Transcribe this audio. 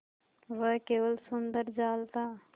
वह केवल सुंदर जाल था